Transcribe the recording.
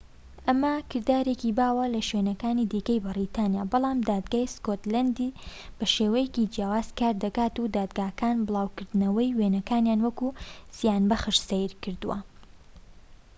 ئەمە کردارێکی باوە لە شوێنەکانی دیکەی بەریتانیا بەڵام دادگای سکۆتلەندی بە شێوازێکی جیاواز کار دەکات و دادگاکان بڵاوکردنەوەی وێنەکانیان وەک زیانبەخش سەیر کردووە